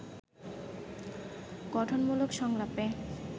গঠনমূলক সংলাপে